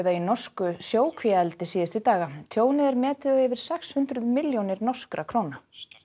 í norsku sjókvíaeldi síðustu daga tjónið er metið á yfir sex hundruð milljónir norskra króna